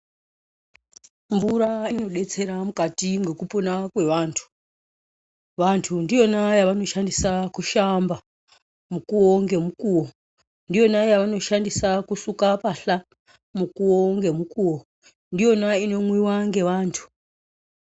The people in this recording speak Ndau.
Mvura inodetsera mukati mwekupona kwevantu. Vantu ndiyona yavanoshandisa kushamba mukuwo ngemukuwo, ndiyona yavanoshandisa kusuka mbahla mukuwo ngemukuwo, ndiyona inomwiwa ngevantu.